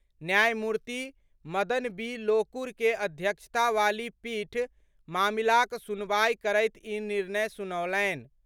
न्यायमूर्ति मदन बी लोकुर के अध्यक्षता वाली पीठ मामिलाक सुनवाई करैत ई निर्णय सुनौलनि।